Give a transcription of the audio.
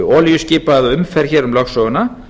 olíuskipa eða umferð hér um lögsöguna